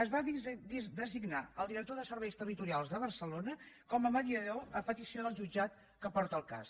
es va designar el director de serveis territorials de barcelona com a mediador a petició del jutjat que porta el cas